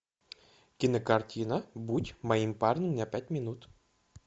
кинокартина будь моим парнем на пять минут